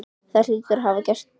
Það hlýtur hún að hafa gert.